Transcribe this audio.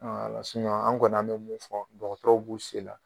A la an kɔni bɛ mun fɔ dɔgɔtɔrɔw b'u se la